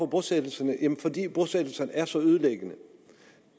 bosættelserne jamen fordi bosættelserne er så ødelæggende